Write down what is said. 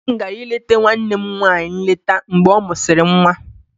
Nne m gara ileta nwanne m nwanyị nleta mgbe ọ mụsịrị nwa.